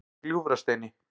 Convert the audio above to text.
Gljúfrasteini